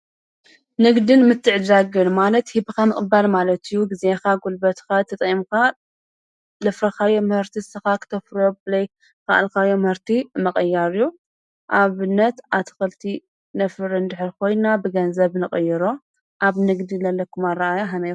ንግድን ምትዕድዳግን ማለት ሂብኻ ምቕባል ማለት እዩ። ጊዜኻ ጕልበትኻ ተጠቂምካ ዘፍረኻዮ ምህርቲ እስኻ ኽተፍረዮ ዘይከኣልካዮ ምሕርቲ ምቅያር እዩ። ኣብነት ኣትኸልቲ ነፍር እንድሕር ኾይንና ብገንዘብ ንቐይሮ ኣብ ንግድ ን ዘለኩም ኣረኣእያ ከመይ እዩ?